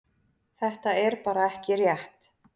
Þetta er bara ekki rétt.